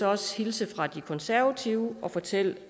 også hilse fra de konservative og fortælle